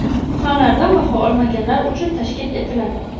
fanlardan baho olmaganlar uchun tashkil etiladi.